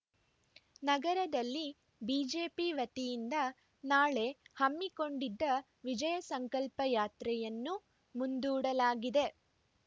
ನಗರದಲ್ಲಿ ಬಿಜೆಪಿ ವತಿಯಿಂದ ನಾಳೆ ಹಮ್ಮಿಕೊಂಡಿದ್ದ ವಿಜಯ ಸಂಕಲ್ಪ ಯಾತ್ರೆಯನ್ನು ಮುಂದೂಡಲಾಗಿದೆ